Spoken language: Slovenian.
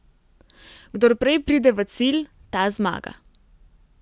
Kdor prej pride v cilj, ta zmaga.